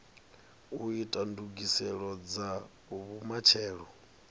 u ita ndugiselo dza vhumatshelo